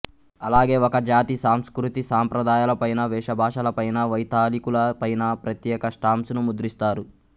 అలాగే ఒక జాతి సంస్కృతి సాంప్రదాయాలపైన వేషభాషల పైన వైతాళికుల పైన ప్రత్యేక స్టాంప్స్ ను ముద్రిస్తారు